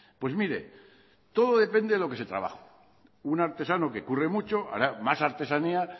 pues mire todo depende de lo que se trabaja un artesano que curre mucho hará más artesanía